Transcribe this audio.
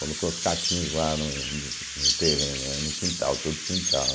Colocou os caquinhos lá no no no terreno, né, no quintal, todo quintal.